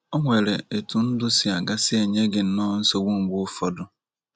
O NWERE ETU NDỤ SI AGA SI ENYE GỊ NNỌỌ NSOGBU MGBE ỤFỌDỤ?